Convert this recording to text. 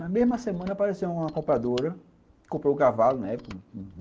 Na mesma semana, apareceu uma compradora, que comprou o cavalo, né?